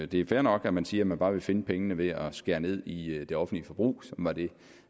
det er fair nok at man siger at man bare vil finde pengene ved at skære ned i det offentlige forbrug